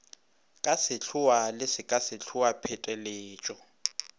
ka sehloa le sekasehloa pheteletšo